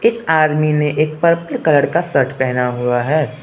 इस आदमी ने एक पर्पल कलर का शर्ट पहना हुआ है।